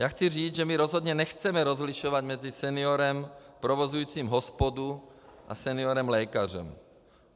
Já chci říci, že my rozhodně nechceme rozlišovat mezi seniorem provozujícím hospodu a seniorem lékařem.